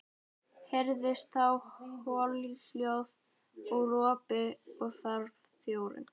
Heyrðist þá holhljóð og ropi og hvarf þjórinn.